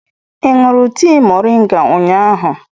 Ị ṅụrụ tea mọrịnga ụnyahụ?